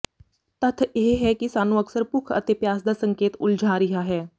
ਤੱਥ ਇਹ ਹੈ ਕਿ ਸਾਨੂੰ ਅਕਸਰ ਭੁੱਖ ਅਤੇ ਪਿਆਸ ਦਾ ਸੰਕੇਤ ਉਲਝਾ ਰਿਹਾ ਹੈ